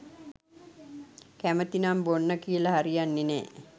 කැමතිනම් බොන්න කියල හරියන්නෙ නෑ.